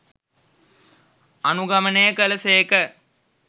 අනුගමනය කළ සේක.